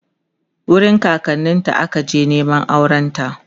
wurin kakanninta aka je Neman aurenta